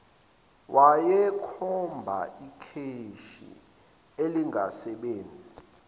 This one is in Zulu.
wayekhomba ikheshi elingasebenzi